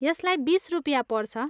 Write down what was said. यसलाई बिस रुपियाँ पर्छ।